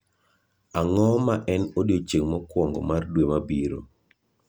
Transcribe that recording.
Ang’o ma en odiechieng’ mokwongo mar dwe mabiro?